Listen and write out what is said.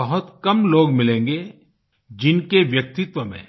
बहुत कम लोग मिलेंगे जिनके व्यक्तित्व में